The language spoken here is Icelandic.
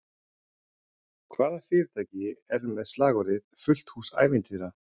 Hvaða fyrirtæki er með slagorðið “fullt hús ævintýra”?